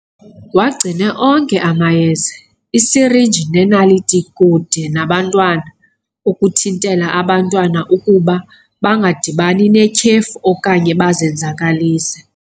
Wagcine yonke amayeza, iisirhinji neenaliti kude nabantwana ukuthintela abantwana ukuba bangadibani netyhefu okanye bazenzakalise.